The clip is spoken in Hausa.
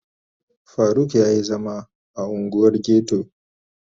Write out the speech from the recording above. Faruk ya yi zama a unguwar ghetto